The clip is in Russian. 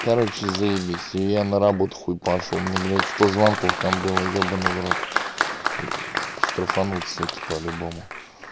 короче заебись я на работу хуй пошёл мне блять сто звонков там было ебанный в рот штрафанут суки по-любому